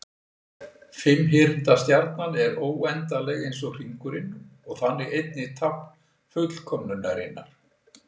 Fimmhyrnda stjarnan er óendanleg eins og hringurinn og þannig einnig tákn fullkomnunarinnar.